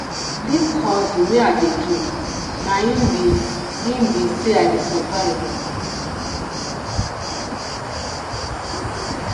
dis hustle wey i dey do na im be im be sey i dey survive o